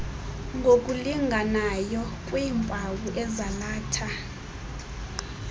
ngokulinganayo kwiimpawu ezalatha